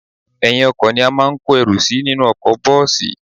Ẹ̀yìn-ọkọ̀ ni a máa ń kó ẹrù sí nínú ọkọ̀ bọ́ọ̀sì